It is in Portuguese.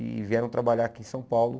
E vieram trabalhar aqui em São Paulo.